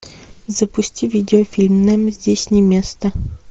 запусти видеофильм нам здесь не место